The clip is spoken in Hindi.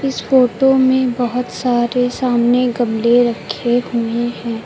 इस फोटो में बहुत सारे सामने गमले रखे हुए है।